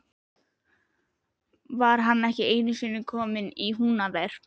Hann var ekki einusinni kominn í Húnaver.